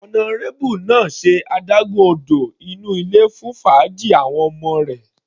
Honourable náà ṣe adágún odò inú ilé fún fàájì àwọn ọmọ rẹ̀.